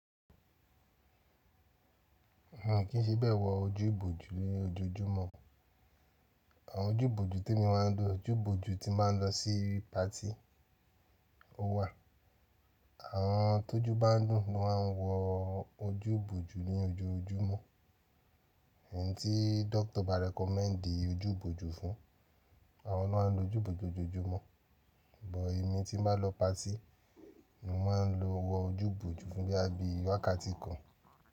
A kin fi be wo jeepu ni ojoojúmọ́. Àwọn ojú ìbòjú tí èmi máa ń lò, ojú ìbòjú tí màá ń lọ sí patí ó wà. Àwọn tó ju bá ń dùn ni wọ́n máa ń wọ ojú ìbòjú ní ojoojúmọ́. Ẹ̀yin tí dókítà bá recommend ojú ìbòjú fún, àwọn náà máa ń lo ojú ìbòjú lojoojúmọ́. Bùt èmi tí n bá nlọ patí, ni mo máa ń lo wọ ojú ìbòjú fún gẹ́gẹ́ bí i wákàtí kan.